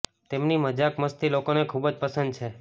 તેમની મજાક મસ્તી લોકોને ખૂબ જ પસંદ છે